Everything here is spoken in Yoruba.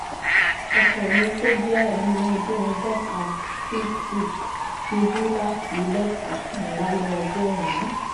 ọkọ mi tó jẹ́ ẹni ọdún ọgọ́ta (60) ṣubú láti lẹ́tà kan lálẹ́ ọjọ́ òní